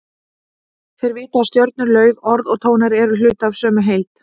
Þeir vita að stjörnur, lauf, orð og tónar eru hluti af sömu heild.